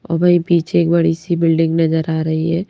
और वहीं पीछे एक बड़ी सी बिल्डिंग नजर आ रही है।